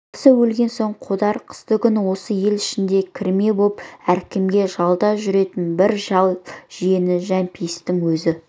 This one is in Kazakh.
баласы өлген соң қодар қыстыгүні осы ел ішінде кірме боп әркімде жалда жүретін бір шал жиені жәмпейісті өз